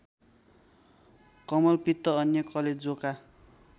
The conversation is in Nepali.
कमलपित्त अन्य कलेजोका